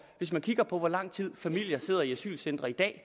hvis man kigger på hvor lang tid familier sidder i asylcentre i dag